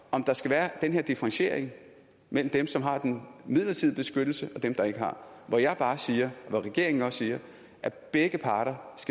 om der skal være den her differentiering mellem dem som har den midlertidige beskyttelse og dem der ikke har hvor jeg bare siger og hvor regeringen også siger at begge parter